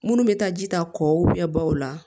Munnu bɛ taa ji ta kɔkɔ baw la